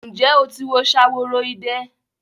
Ǹjẹ́ o ti wo Ṣaworoide?